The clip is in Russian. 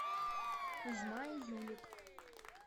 кузьма и юлик